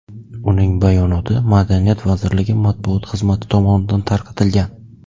Uning bayonoti Madaniyat vazirligi matbuot xizmati tomonidan tarqatilgan .